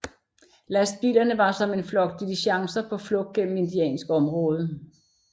Lastbilerne var som en flok diligencer på flugt gennem indiansk område